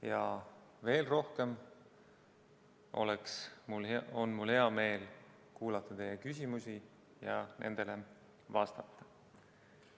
Ja veel rohkem on mul hea meel kuulata teie küsimusi ja nendele vastata.